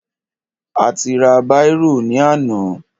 A ti ra bírò ní àná.